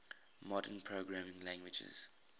modern programming languages